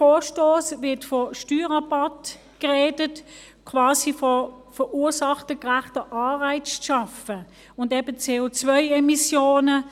In diesem Vorstoss wird von Steuerrabatt gesprochen, quasi vom Schaffen von verursachergerechten Anreizen und eben CO-Emissionen.